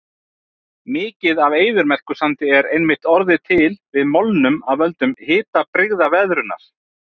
Mikið af eyðimerkursandi er einmitt orðið til við molnun af völdum hitabrigðaveðrunar.